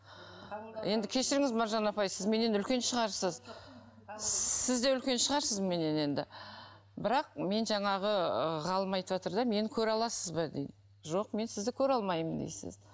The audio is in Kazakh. енді кешіріңіз маржан апай сіз менен үлкен шығарсыз сіз де үлкен шығарсыз менен енді бірақ мен жаңағы ы ғалым айтыватыр да мені көре аласыз ба дейді жоқ мен сізді көре алмаймын дейсіз